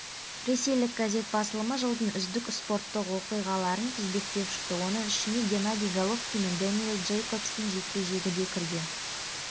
ресейлік газет басылымы жылдың үздік спорттық оқиғаларын тізбектеп шықты оның ішіне геннадий головкин мен дэниэл джейкобстың жекпе-жегі де кірген